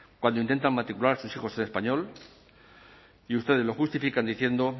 cuando intentan matricular sus hijos en español y ustedes lo justifican diciendo